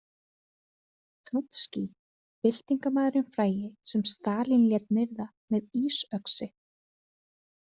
Og Trotskí, byltingarmaðurinn frægi sem Stalín lét myrða með ísöxi.